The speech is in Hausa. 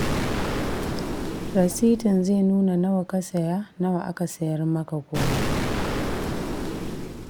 Rasitin zai nuna nawa ka saya nawa aka sayar maka komai